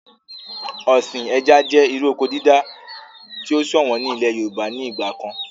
Ọ̀sìn ẹja jẹ́ irú oko dídá tí o ṣọ̀wọ̀n ní ilẹ̀ yorùbá ní ìgbà kan